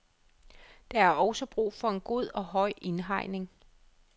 Der er også brug for en god og høj indhegning.